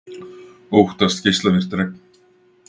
Óttast geislavirkt regn